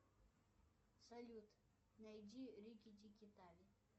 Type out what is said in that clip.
салют найди рики тики тави